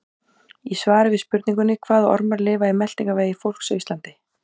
Í svari við spurningunni Hvaða ormar lifa í meltingarvegi fólks á Íslandi?